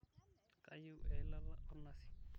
kayieu eilata ornazi